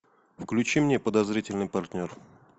включи мне подозрительный партнер